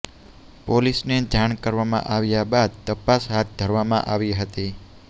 પોલીસને જાણ કરવામાં આવ્યા બાદ તપાસ હાથ ધરવામાં આવી હતી